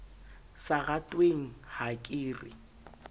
sa ratweng ha ke re